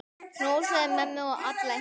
Knúsaðu mömmu og alla hina.